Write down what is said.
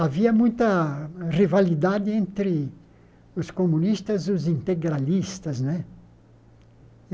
Havia muita rivalidade entre os comunistas e os integralistas né.